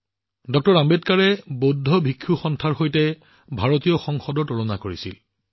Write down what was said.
ড০ আম্বেদকাৰে বৌদ্ধ ভিক্ষু সংঘক ভাৰতীয় সংসদৰ সৈতে তুলনা কৰিছিল